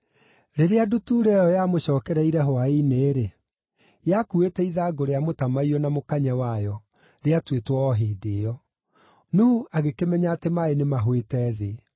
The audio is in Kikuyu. Rĩrĩa ndutura ĩyo yamũcookereire hwaĩ-inĩ-rĩ, yakuuĩte ithangũ rĩa mũtamaiyũ na mũkanye wayo, rĩatuĩtwo o hĩndĩ ĩyo! Nuhu agĩkĩmenya atĩ maaĩ nĩmahũĩte thĩ.